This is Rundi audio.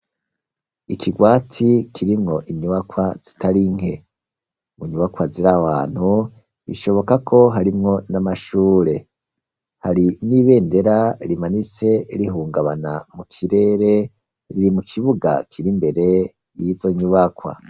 Ikigwati, kirimwo inyubakwa zitari nke; mu nyubakwa ziri aho hantu, bishoboka ko harimwo n'amashure; hari n'ibendera rimanitse, rihungabana mu kirere, riri mu kibuga kiri imbere y'izo nyubakwa.